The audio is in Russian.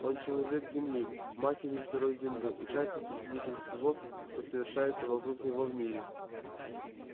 он человек земли матери сырой земли участник и свидетель всего что совершается вокруг него в мире